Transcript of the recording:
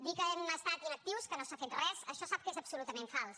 dir que hem estat inactius que no s’ha fet res això sap que és absolutament fals